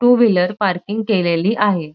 To wheeler parking केलेली आहे.